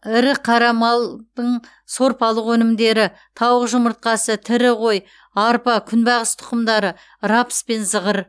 ірі қара малдың сорпалық өнімдері тауық жұмыртқасы тірі қой арпа күнбағыс тұқымдары рапс пен зығыр